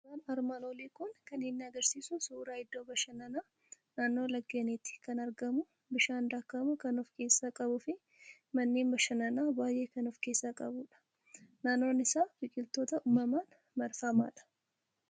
Suuraan armaan olii kan inni agarsiisu suuraa iddoo bashannanaa, naannoo laggeeniitti kan argamu, bishaan daakamu kan of keessaa qabu fi manneen bashannanaa baay'ee kan of keessaa qabudha. Naannoon isaa biqiltoota uumamaan marfamaadha.